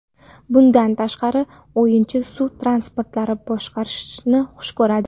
Bundan tashqari, o‘yinchi suv transportlarini boshqarishni xush ko‘radi.